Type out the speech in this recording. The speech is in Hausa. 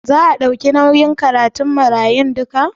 Za a ɗauki nauyin karatun marayun duka?